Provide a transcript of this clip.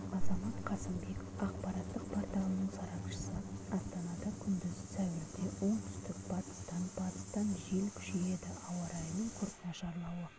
азамат касымбеков ақпараттық порталының сарапшысы астанада күндіз сәуірде оңтүстік-батыстан батыстан жел күшейеді ауа райының күрт нашарлауы